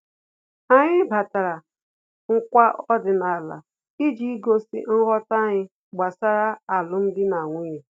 Anyị nabatara nkwa ọdịnala iji gosi nghọta anyị gbasara alum dị na nwunye